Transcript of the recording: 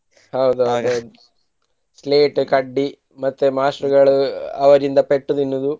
ಹೌದ ಹೌದು slate ಕಡ್ಡಿ ಮತ್ತೆ ಮಾಸ್ಟ್ರಗಳು ಅವರಿಂದ ಪೆಟ್ಟು ತಿನ್ನುವುದು